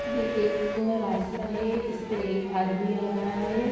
ये एक रास्ता है इस पे एक आदमी आ रहा हैं।